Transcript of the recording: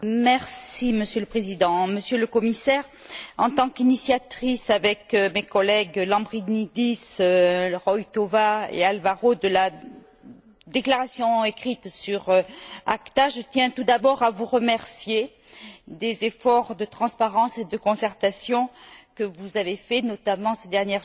Monsieur le Président, Monsieur le Commissaire, en tant qu'initiatrice avec mes collègues Lambrinidis, Roithová et Alvaro de la déclaration écrite sur ACTA, je tiens tout d'abord à vous remercier des efforts de transparence et de concertation que vous avez faits, notamment ces dernières semaines.